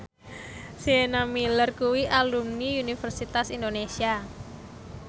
Sienna Miller kuwi alumni Universitas Indonesia